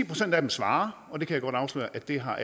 procent af dem svarer og jeg kan godt afsløre at det har